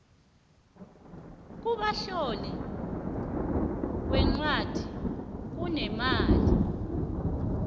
ukubamtloli weencwadi kunemali